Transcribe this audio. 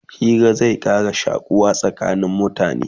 Hira zai Ƙara shakuwa tsakanin mutane